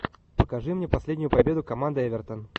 покажи мне последнюю победу команды эвертон